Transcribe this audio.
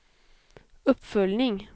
uppföljning